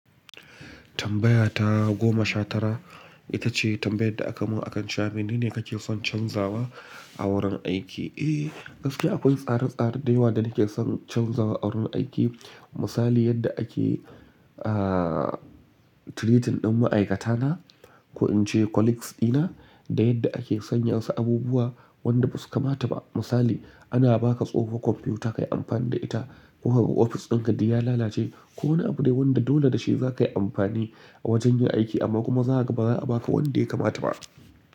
Tambaya ta goma sha tara ita ce tambayar da aka mun akan shafi. Mene kake son canzawa a wurin aiki? Eh gaskiya akwai tsare tsare da yawa da nake son canzawa a wurin aiki. Misali yadda ake ah treating din ma'aikata na ko in ce colleagues dina da yadda ake sanyansu abubuwa wanda basu kamata ba. Misali ana baka tsohon kwamfuta kayi amfani da ita ko kuma ofis dinka din ya lalace. Ko wani abu dai wanda dole da shi zakayi amfani a wajen yin aiki amma kuma za kaga baza a baka wanda ya kamata ba.